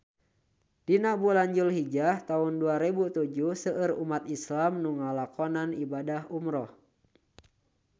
Dina bulan Dulhijah taun dua rebu tujuh seueur umat islam nu ngalakonan ibadah umrah